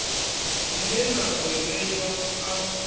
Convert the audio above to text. dzine na ḓo ṋeiwa a